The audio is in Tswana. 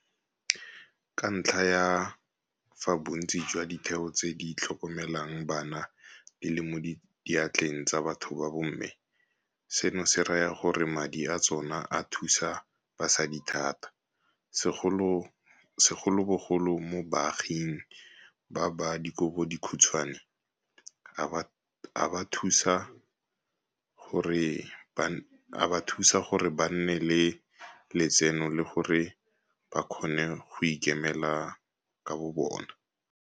Ka ntlha ya fa bontsi jwa ditheo tse di tlhokomelang bana di le mo diatleng tsa batho ba bomme, seno se raya gore madi a tsona a thusa basadi thata, segolobogolo mo baaging ba ba dikobodikhutshwane, a ba thusa gore ba nne le letseno le gore ba kgone go ikemela ka bobona.